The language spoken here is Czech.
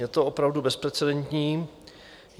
Je to opravdu bezprecedentní.